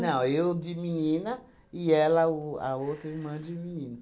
eu de menina e ela o a outra irmã de menino.